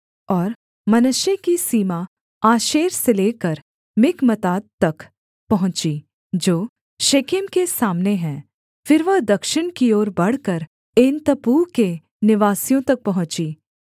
और मनश्शे की सीमा आशेर से लेकर मिकमतात तक पहुँची जो शेकेम के सामने है फिर वह दक्षिण की ओर बढ़कर एनतप्पूह के निवासियों तक पहुँची